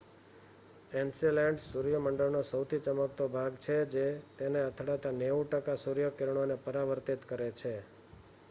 Enceladus સૂર્ય મંડળનો સહુથી ચમકતો ભાગ છે જે તેને અથડાતા 90 ટકા સૂર્યકિરણોને પરાવર્તિત કરે છે